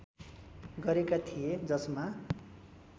गरेका थिए जसमा